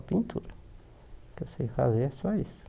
Pintura o que eu sei fazer é só isso.